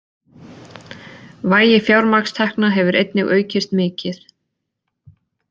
Vægi fjármagnstekna hefur einnig aukist mikið